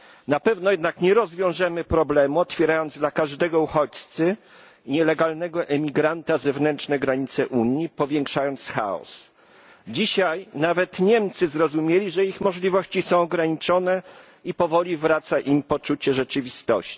Na pewno jednak nie rozwiążemy problemu, otwierając dla każdego uchodźcy, nielegalnego emigranta zewnętrzne granice Unii, powiększając chaos. Dzisiaj nawet Niemcy zrozumieli, że ich możliwości są ograniczone i powoli wraca im poczucie rzeczywistości.